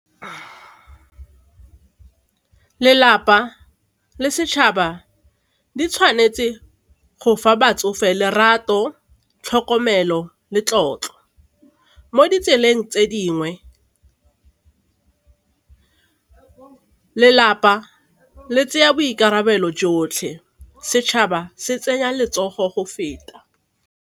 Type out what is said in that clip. Lelapa le setšhaba di tshwanetse go fa batsofe lerato, tlhokomelo le tlotlo. Mo ditseleng tse dingwe, lelapa le tseya boikarabelo jotlhe, setšhaba se tsenya letsogo go feta.